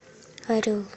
орел